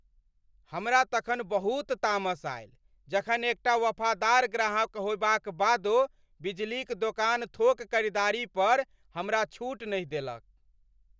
हमरा तखन बहुत तामस आयल जखन एकटा वफादार ग्राहक होयबाक बादो बिजलीक दोकान थोक खरीदारी पर हमरा छूट नहि देलक।